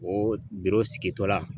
O bolo sigitɔ la